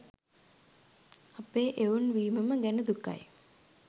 අපේ එවුන් වීමම ගැන දුකයි.